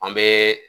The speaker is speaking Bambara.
An bɛ